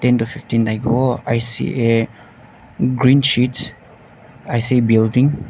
fifteen thakivo i see a green sheets i see building .